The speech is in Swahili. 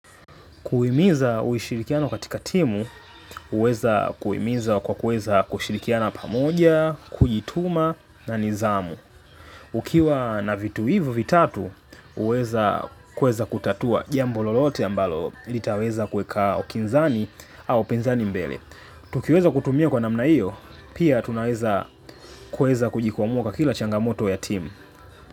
Kuhimiza uishirikiano katika timu, huweza kuhimiza kwa kuweza kushirikiana pamoja, kujituma na nidhamu. Ukiwa na vitu hivo vitatu, huweza kuweza kutatua jambo lolote ambalo litaweza kuweka upinzani au penzani mbele. Tukiweza kutumia kwa namna hiyo, pia tunaweza kuhimiza kujikumuka kila changamoto ya timu.